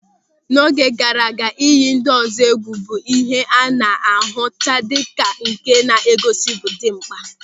N'oge gaara aga, ịyị ndị ọzọ egwu bụ ihe a na-ahụta dịka nke na-egosi ịbụ dimkpa.